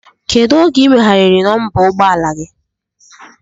Kedụ oge i meghariri nọmba ụgbọ ala gi?